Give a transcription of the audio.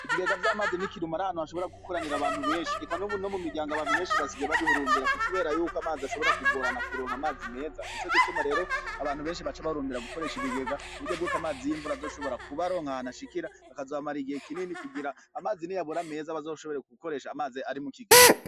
Ibigega vy'amazi nikirumara hanu hashobora gukoranira abantu benshi eka nubu no mu miryango abantu benshi basigaye babihurumbira kukubera yuko amazi ashobora kugorana kuronka amazi meza ni co gituma rero abantu benshi baca bahurumbira gukoresha ibigega ku buryo bwoko amazi y'imvura azoshobora kuba aronkahanu ashikira akazabamarae igihe kinini kugira amazi ni yabura meza bazoshoborerwa gukoresha amaze ari mu kigega.